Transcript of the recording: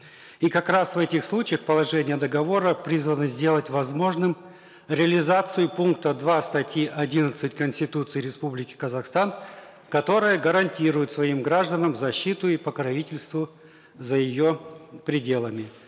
и как раз в этих случаях положение договора призвано сделать возможным реализацию пункта два статьи одиннадцать конституции республики казахстан которая гарантирует своим гражданам защиту и покровительство за ее пределами